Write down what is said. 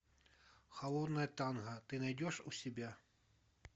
холодное танго ты найдешь у себя